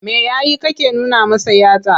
Me ya yi kake nuna masa yatsa?